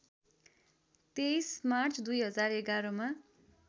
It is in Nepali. २३ मार्च २०११ मा